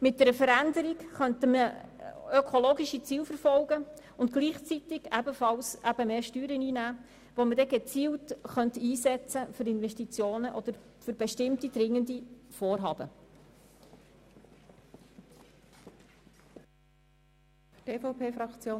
Mit einer Veränderung könnten wir ökologische Ziele verfolgen und gleichzeitig mehr Steuern einnehmen, die wir gezielt für Investitionen oder für bestimmte dringende Vorhaben einsetzen könnten.